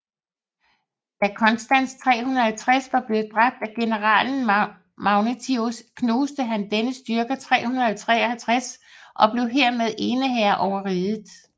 Da Constans 350 var blevet dræbt af generalen Magnentius knuste han dennes styrker 353 og blev hermed eneherre over riget